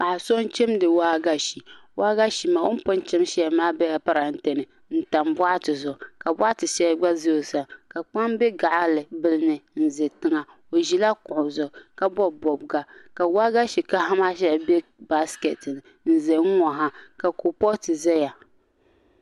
Paɣa so n chimdi waagashe o ni pun chim shɛli maa bɛla parantɛ ni n tam boɣati zuɣu ka boɣati shɛli gba ʒɛ o sani ka kpam bɛ gaɣa bili ni n ʒɛ tiŋa o ʒila kuɣu zuɣu ka bob bobga ka waagashe kaɣa maa shɛli bɛ baaskɛti ni n ʒɛ n ŋo ha ka kuripooti ʒɛya